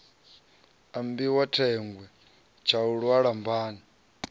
ambiwa thengwe tshaulu ha lambani